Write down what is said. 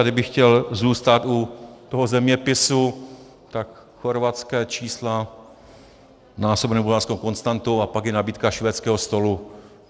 A kdybych chtěl zůstat u toho zeměpisu, tak chorvatská čísla násobená bulharskou konstantou a pak je nabídka švédského stolu.